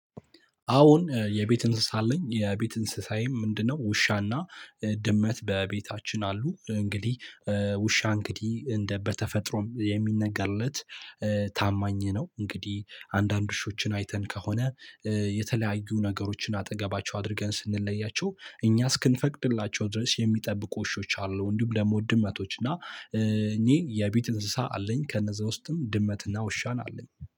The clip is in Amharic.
አዎን የቤት እንስሳ አለኝ የቤት እንስሳዬም ምንድነው ውሻና ድመት በቤታችን አሉ። እንግዲህ ውሻ እንግዲህ እንደ በተፈጥሮም የሚነገርለት ታማኝ ነው። እንግዲህ አንዳንድ ውሾችን አይተን ከሆነ የተለያዩ ነገሮችን አጠገባቸው አድርገን ስንለያቸው እኛ እስክንፈቅድላቸው ድረስ የሚጠብቁ ውሾች አሉ። እንዲሁም ደግሞ ድመቶች እና እኚህ የቤት እንስሳ አለኝ። ከነዛ ውስጥም ድመትና ውሻን አለኝ